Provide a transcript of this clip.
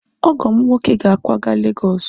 ọgọ m nwoke ga-akwaga Lagos